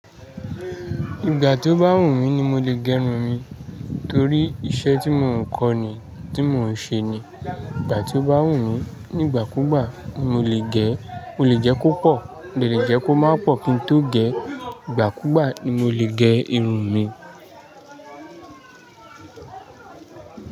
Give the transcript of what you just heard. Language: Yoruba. Ìgbà tí ó bá wù mí ni mo lè gẹrun mi torí iṣẹ́ tí mò ń kó ni, tí mò ń ṣe ni. Ìgbà tí ó bá wù mí nígbàkúgbà ni mo lè gẹ́, mo lè jẹ́ kó pọ̀, mo de lè jẹ́ kó má pọ̀ kí n tó gẹ́. Ìgbàkúgbà ni mo lè gẹ irun mi.